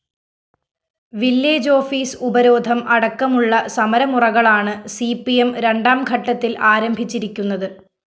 village office ഉപരോധം അടക്കമുള്ള സമരമുറകളാണ് സിപി‌എം രണ്ടാംഘട്ടത്തില്‍ ആരംഭിച്ചിരിക്കുന്നത്